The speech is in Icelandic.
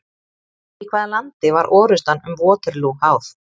Í hvaða landi var orrustan um Waterloo háð?